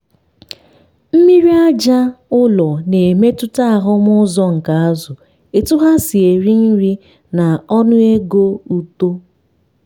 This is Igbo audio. mmiri aja ụlọ na-emetụta ahụm uzo nke azụ etu ha si eri nri na ọnụego uto.